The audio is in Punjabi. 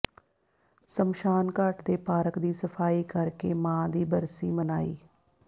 ਸ਼ਮਸ਼ਾਨਘਾਟ ਦੇ ਪਾਰਕ ਦੀ ਸਫ਼ਾਈ ਕਰਕੇ ਮਾਂ ਦੀ ਬਰਸੀ ਮਨਾਈ